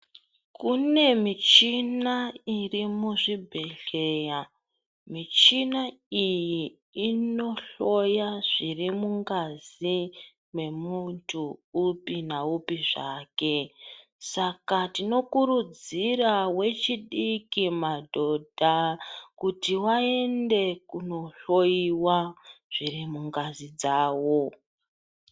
Kune michina iri muzvibhedhleya, michina iyi inohloya zviri mungazi yemuntu upi naupi zvake Saka tinokurudzira vechidiki, madhodha kuti vaende kunohloyiwa zviri mungazi dzawo.